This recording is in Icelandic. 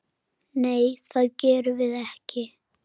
Nei, það gerðum við ekki.